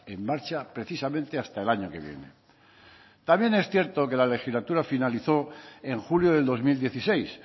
en marcha precisamente hasta el año que viene también es cierto que la legislatura finalizó en julio del dos mil dieciséis